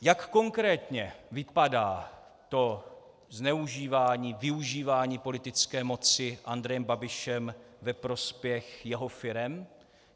Jak konkrétně vypadá to zneužívání, využívání politické moci Andrejem Babišem ve prospěch jeho firem?